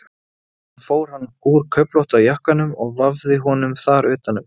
Síðan fór hann úr köflótta jakkanum og vafði honum þar utan um.